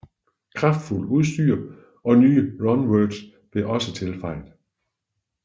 Kraftfuldt udstyr og nye runewords blev også tilføjet